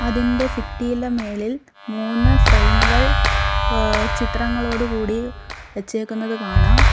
ഇതിൻ്റെ ഭിത്തിടെ മേളിൽ മൂന്ന് ഫ്രെയിമുകൾ എഹ് ചിത്രങ്ങളോടുകൂടി വെച്ചേക്കുന്നത് കാണാം.